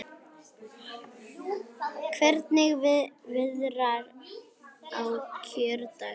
Hvernig viðrar á kjördag?